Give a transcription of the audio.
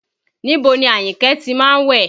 Níbo ni Àyìnkẹ́ ti má ń wẹ̀?